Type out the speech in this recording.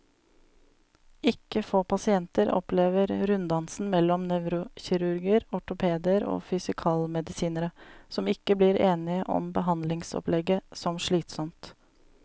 Ikke få pasienter opplever runddansen mellom nevrokirurger, ortopeder og fysikalmedisinere, som ikke blir enige om behandlingsopplegget, som slitsom.